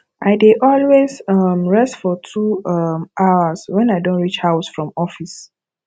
i dey always um rest for two um hrs when i don reach house from office